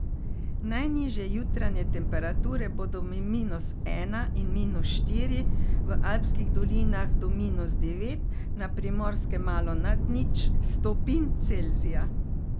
Najnižje jutranje temperature bodo med minus ena in minus štiri, v alpskih dolinah do minus devet, na Primorskem malo nad nič stopinj Celzija.